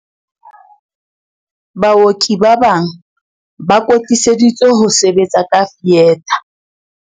Baoki ba bang ba kwetliseditswe ho sebetsa ka fietha.